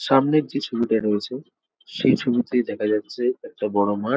সামনের যে ছবিটা রয়েছে সেই ছবিতে দেখা যাচ্ছে একটা বড়ো মাঠ ।